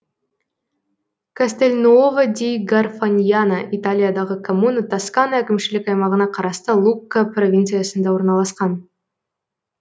кастельнуово ди гарфаньяна италиядағы коммуна тоскана әкімшілік аймағына қарасты лукка провинциясында орналасқан